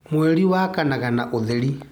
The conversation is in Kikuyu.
Mweri wakanaga na ũtheri.